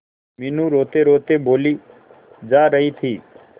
मीनू रोतेरोते बोली जा रही थी